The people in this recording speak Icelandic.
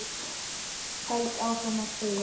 Held áfram að þegja.